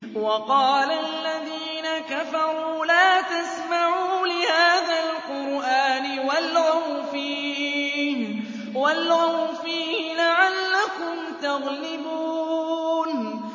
وَقَالَ الَّذِينَ كَفَرُوا لَا تَسْمَعُوا لِهَٰذَا الْقُرْآنِ وَالْغَوْا فِيهِ لَعَلَّكُمْ تَغْلِبُونَ